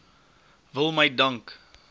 wil my dank